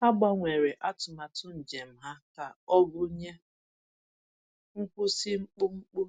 Ha gbanwere atụmatụ njem ha ka ọ gụnye nkwụsị mkpụmkpụ